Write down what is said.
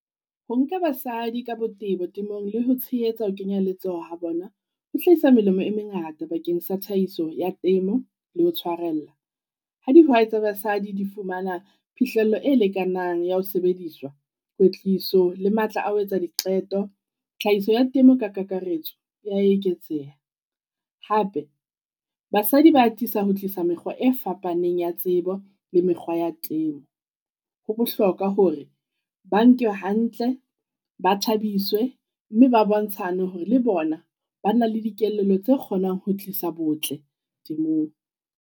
Ho nka basadi ka botebo temong le ho tshehetsa ho kenya letsoho ha bona, ho hlahisa melemo e mengata bakeng sa tlhahiso ya temo le ho tshwarella. Ha dihwai tsa basadi di fumana phihlello e lekanang ya ho sebediswa, kwetliso le matla a ho etsa diqeto. Tlhahiso ya temo ka kakaretso ya eketseha. Hape, basadi ba atisa ho tlisa mekgwa e fapaneng ya tsebo le mekgwa ya temo. Ho bohloka hore ba nkwe hantle ba thabiswe mme ba bontshane hore le bona ba na le dikelello tse kgonang ho tlisa botle temong.